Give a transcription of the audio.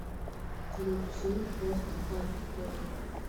включи постхардкор